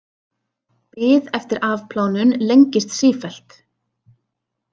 Bið eftir afplánun lengist sífellt